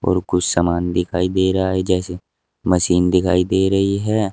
और कुछ सामान दिखाई दे रहा है जैसे मशीन दिखाई दे रही है।